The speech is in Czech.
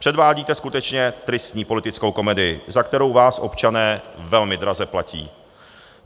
Předvádíte skutečně tristní politickou komedii, za kterou vás občané velmi draze platí.